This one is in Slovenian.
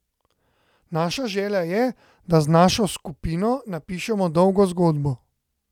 Naša želja je, da z našo skupino napišemo dolgo zgodbo.